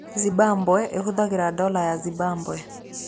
Zimbabwe ĩhũthagĩra dola ya Zimbabwe.